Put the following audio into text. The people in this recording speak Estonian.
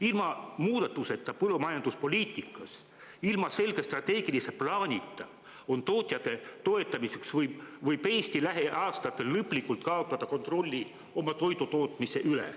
Ilma muudatusteta põllumajanduspoliitikas, ilma selge strateegilise plaanita oma tootjate toetamiseks võib Eesti lähiaastatel lõplikult kaotada kontrolli oma toidutootmise üle.